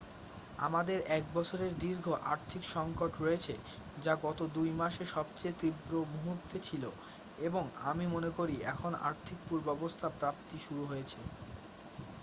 "আমাদের এক বছরের দীর্ঘ আর্থিক সংকট রয়েছে যা গত 2 মাসে সবচেয়ে তীব্র মুহূর্তে ছিল এবং আমি মনে করি এখন আর্থিক পূর্বাবস্থা প্রাপ্তি শুরু হয়েছে। "